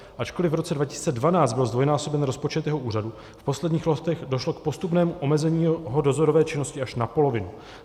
Ačkoliv v roce 2012 byl zdvojnásoben rozpočet jeho úřadu, v posledních letech došlo k postupnému omezení jeho dozorové činnosti až na polovinu.